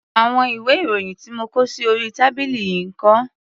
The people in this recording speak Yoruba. Àwọn ìwé-ìròyìn tí mo kó sí orí tábìlì yìí ń kọ́?